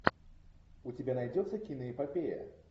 у тебя найдется киноэпопея